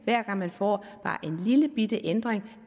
hver gang man får bare en lillebitte ændring